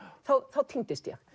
þá týndist ég